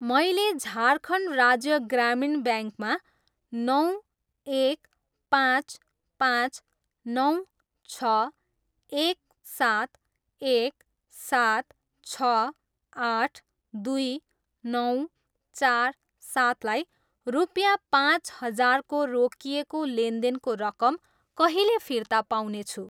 मैले झारखण्ड राज्य ग्रामीण ब्याङ्कमा नौ, एक, पाँच, पाँच, नौ, छ, एक, सात, एक, सात, छ, आठ, दुई, नौ, चार, सातलाई रुपियाँ पाँच हजारको रोकिएको लेनदेनको रकम कहिले फिर्ता पाउनेछु?